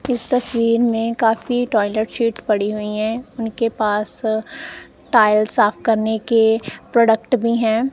इस तस्वीर में काफी टॉयलेट शीट पड़ी हुई हैं उनके पास टाइल साफ करने के प्रोडक्ट भी हैं।